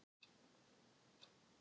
Ófriðarbál á Austurvelli